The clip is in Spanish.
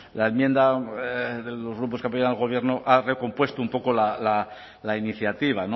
la enmienda de los grupos que apoyan al gobierno ha recompuesto un poco la iniciativa